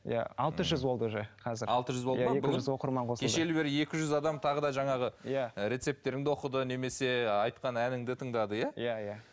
иә алты жүз болды уже қазір екі жүз оқырман қосылды кешелі бері екі жүз адам тағы да жаңағы иә рецептеріңді оқыды немесе айтқан әніңді тыңдады иә иә иә